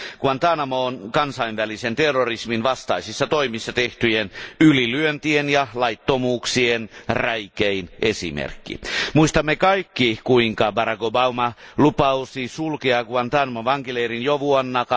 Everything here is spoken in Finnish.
Guantánamo on kansainvälisen terrorismin vastaisissa toimissa tehtyjen ylilyöntien ja laittomuuksien räikein esimerkki. Muistamme kaikki, kuinka Barack Obama lupasi sulkea Guantánamon vankileirin jo vuonna